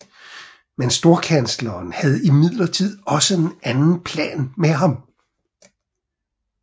Men storkansleren havde imidlertid også en anden plan med ham